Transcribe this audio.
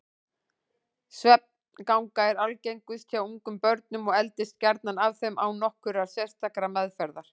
Svefnganga er algengust hjá ungum börnum og eldist gjarnan af þeim án nokkurrar sérstakrar meðferðar.